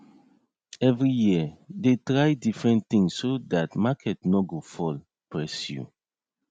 every year dey try different thing so that market nor go fall press you